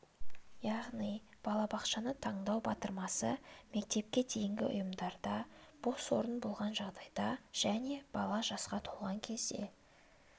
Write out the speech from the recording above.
яғни балабақшаны таңдау батырмасы мектепке дейінгі ұйымдарда бос орын болған жағдайда және бала жасқа толған кезде